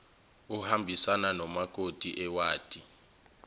ohambisana namakomiti ewadi